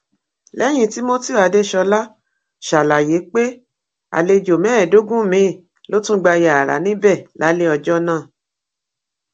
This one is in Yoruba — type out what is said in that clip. lẹyìn timothy adesola ṣàlàyé pé àlejò mẹẹẹdógún miín ló tún gba yàrá níbẹ lálẹ ọjọ náà